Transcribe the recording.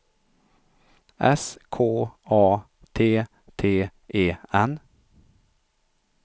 S K A T T E N